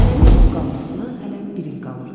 Nənəmin dul qalmasına hələ bir il qalırdı.